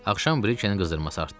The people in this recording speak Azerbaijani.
Axşam Brikenin qızdırması artdı.